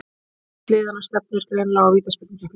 Hvorugt liðanna stefnir greinilega á vítaspyrnukeppni.